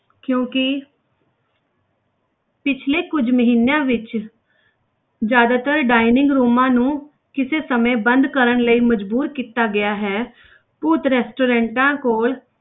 ਕਿਉਂਕਿ ਪਿੱਛਲੇ ਕੁੱਝ ਮਹੀਨਿਆਂ ਵਿੱਚ ਜ਼ਿਆਦਾਤਰ dining rooms ਨੂੰ ਕਿਸੇ ਸਮੇਂ ਬੰਦ ਕਰਨ ਲਈ ਮਜ਼ਬੂਰ ਕੀਤਾ ਗਿਆ ਹੈ ਭੂਤ restaurants ਕੋਲ,